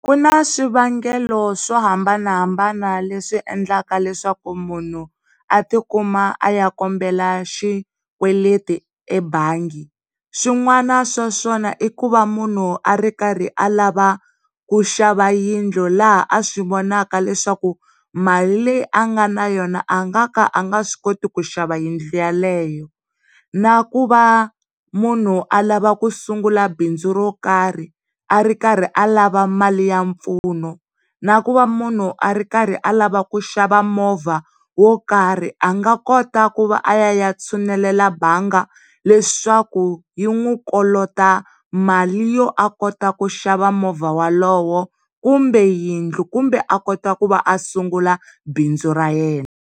Ku na swivangelo swo hambanahambana le swi endlaka leswaku munhu a ti kuma a ya kombela xikweleti ebanga. Swin'wana swa swona i ku va munhu a ri karhi alava ku xava yindlu laha a swi vonaka leswaku mali leyi a nga na yona a nga ka a nga swi koti ku xava yindlu yeleyo. na ku va munhu a lavaku ku sungula bindzu ro karhi a ri karhi a lava mali ya mpfuno na ku va munhu a ri karhi alava ku xava movha wokarhi a nga kota ku va a ya tshunelela mbanga leswaku yi n'wi kolota mali yo a kota ku xava movha wolowo, kumbe yindlu kumbe a kota ku va a sungula bindzu ra yena